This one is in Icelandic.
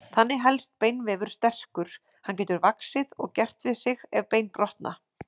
Þannig helst beinvefur sterkur, hann getur vaxið og gert við sig ef bein brotna.